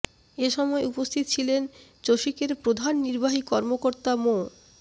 এ সময় উপস্থিত ছিলেন চসিকের প্রধান নির্বাহী কর্মকর্তা মো